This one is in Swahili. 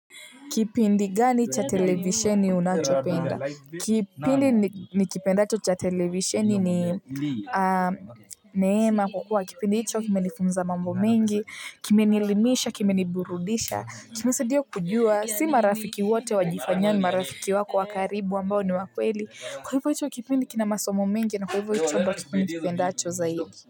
Kipindi gani cha televisheni unachopenda? Kipindi nikipendacho cha televisheni ni neema kwa kuwa. Kipindi hicho kimenifunza mambo mingi, kimenielimisha, kimeniburudisha, kimesaidia kujua, si marafiki wote wajifanyao ni, marafiki wako wa karibu ambao ni wa kweli. Kwa hivyo hicho kipindi kina masomo mengi na kwa hivyo hicho ndo kipindi nikipendacho zaigi.